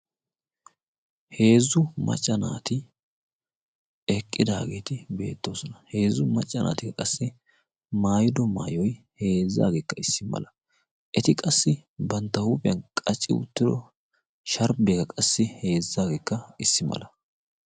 Heezzu macca naati eqqidaageeti beettoosona. Heezzu macca naati qassi mayido maayoy heezzaageekka issi mala. Eti qassi bantta huuphphiyan qacci uttiro sharbbiyaa qassi heezzaageekka issi mala.